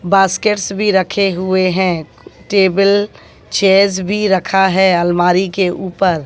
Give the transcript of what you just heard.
basket भी रखे हुए हैं टेबल चेयर्स भी रखा है अलमारी के ऊपर--